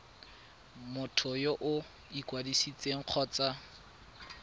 motho yo o ikwadisitseng kgotsa